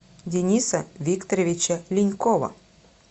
дениса викторовича линькова